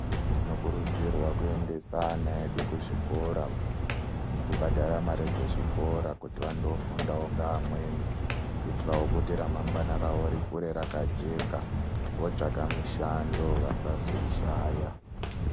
Tinokurudzirwa kuendesa ana edu kuzvikora nekubhadhare mare dzezvikora kuti vandoofundawo ngaamweni kuitirawo kuti ramangwana ravo rikure rakajeka vootsvaka mushando vasazoishaya.